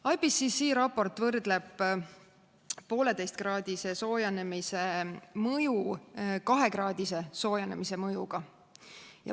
IPCC raport võrdleb 1,5-kraadise soojenemise mõju 2-kraadise soojenemise mõjuga.